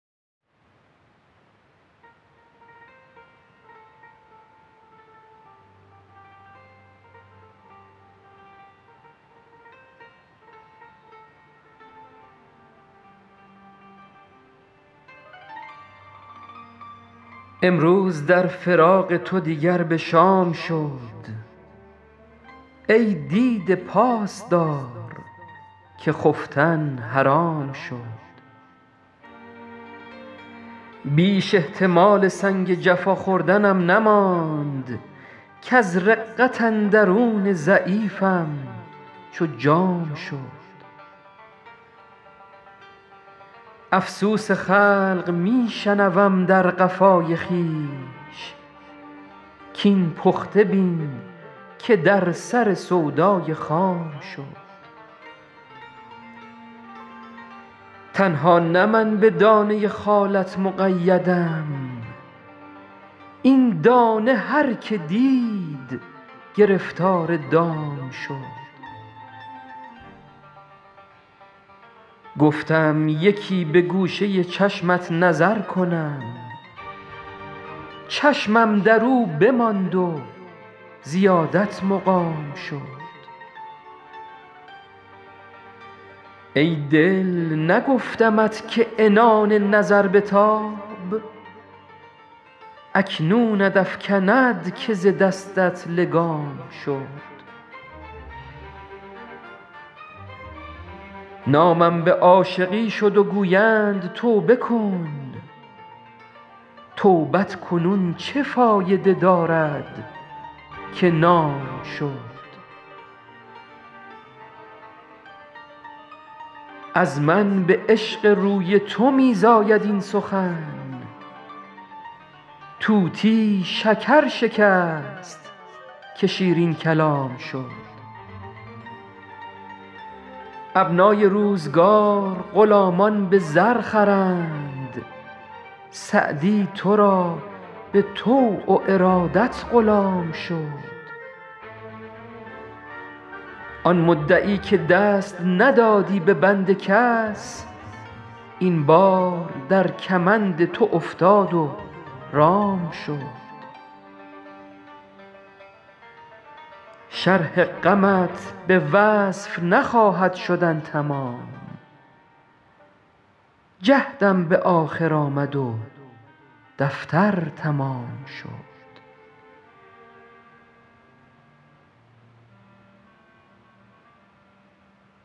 امروز در فراق تو دیگر به شام شد ای دیده پاس دار که خفتن حرام شد بیش احتمال سنگ جفا خوردنم نماند کز رقت اندرون ضعیفم چو جام شد افسوس خلق می شنوم در قفای خویش کاین پخته بین که در سر سودای خام شد تنها نه من به دانه خالت مقیدم این دانه هر که دید گرفتار دام شد گفتم یکی به گوشه چشمت نظر کنم چشمم در او بماند و زیادت مقام شد ای دل نگفتمت که عنان نظر بتاب اکنونت افکند که ز دستت لگام شد نامم به عاشقی شد و گویند توبه کن توبت کنون چه فایده دارد که نام شد از من به عشق روی تو می زاید این سخن طوطی شکر شکست که شیرین کلام شد ابنای روزگار غلامان به زر خرند سعدی تو را به طوع و ارادت غلام شد آن مدعی که دست ندادی به بند کس این بار در کمند تو افتاد و رام شد شرح غمت به وصف نخواهد شدن تمام جهدم به آخر آمد و دفتر تمام شد